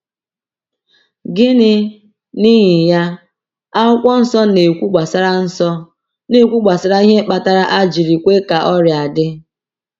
Gịnị, n’ihi ya, Akwụkwọ Nsọ na-ekwu gbasara Nsọ na-ekwu gbasara ihe kpatara a jiri kwe ka ọrịa dị?